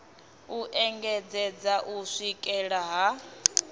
u engedzedza u swikela ha